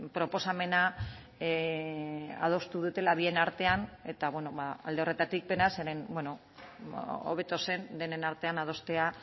proposamena adostu dutela bien artean eta alde horretatik penaz zeren hobeto zen denen artean adostea